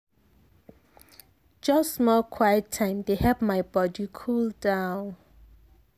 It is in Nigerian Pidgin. just small quiet time dey help my body cool down.